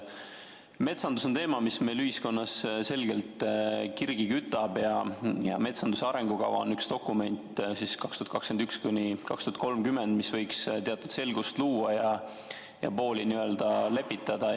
Metsandus on teema, mis meil ühiskonnas selgelt kirgi kütab ja metsanduse arengukava 2021–2030 on üks dokument, mis võiks teatud selgust luua ja pooli lepitada.